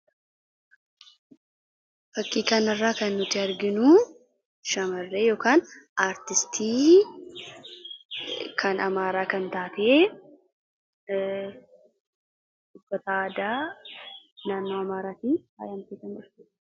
fakkii kana irraa kan nuti arginu shamarree yookaan aartistii kan amaaraa kan taatee uffata aadaa naannnoo amaraatii faayamtee kan argamtudha